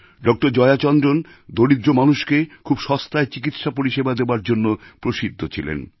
doctor Jaya Chandran দরিদ্র মানুষকে খুব সস্তায় চিকিৎসা পরিসেবা দেওয়ার জন্য প্রসিদ্ধ ছিলেন